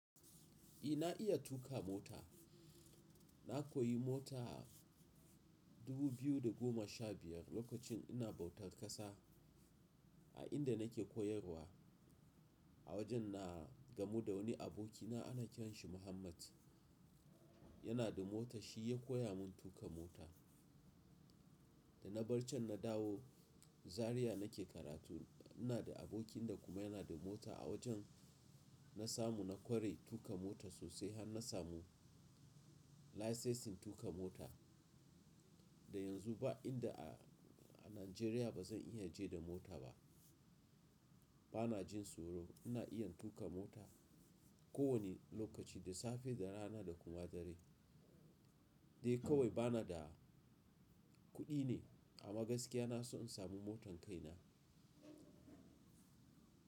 Eh na iya tuƙa mota. Na koyi mota 2015 lokacin ina bautar ƙasa a inda nake koyarwa. A wajen na gamu da wani abokina ana kiranshi Muhammad, yana da mota shi ya koya mun tuƙa mota. Da na bar can na dawo Zaria nake karatu ina da abokin da kuma yana da mota a wajen na samu na ƙware tuƙa mota sosai har na samu licensing tuƙa mota. Da yanzu ba inda a, a Najeriya ba zan iya je da mota ba. Bana jin tsoro. Ina iya tuƙa mota ko wane lokaci da safe, da rana da kuma dare. Dai kawai bana da kuɗi ne. Amma gaskiya na so in samu motan kaina.